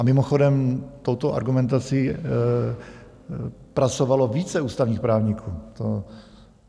A mimochodem, touto argumentací pracovalo více ústavních právníků.